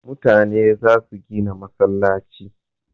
Mutane za su gina masallci